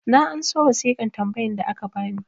na anso wasiƙan tambayan da aka bani